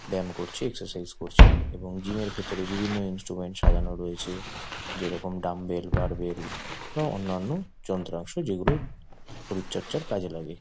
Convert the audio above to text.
ব্যায়াম করছে এক্সারসাইজ করছে এবং জিম এর ভেতরে বিভিন্ন রকমের ইন্সট্রুমেন্ট সাজানো রয়েছে। যেরকম ডাম্বেল বাড়বেল এবং অন্যান্য যন্ত্রাংশ যেগুলো শরীর চর্চার কাজে লাগে।